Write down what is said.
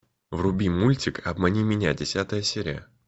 вруби мультик обмани меня десятая серия